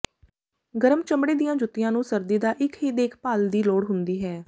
ਗਰਮ ਚਮੜੇ ਦੀਆਂ ਜੁੱਤੀਆਂ ਨੂੰ ਸਰਦੀ ਦਾ ਇੱਕ ਹੀ ਦੇਖਭਾਲ ਦੀ ਲੋੜ ਹੁੰਦੀ ਹੈ